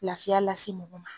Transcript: Lafiya lase mɔgɔ ma.